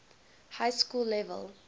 high school level